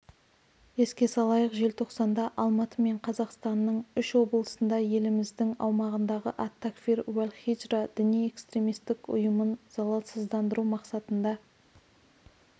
еске салайық желтоқсанда алматы мен қазақстанның үш облысында еліміздің аумағындағы ат-такфир уәл-хиджра діни-экстремистік ұйымын залалсыздандыру мақсатында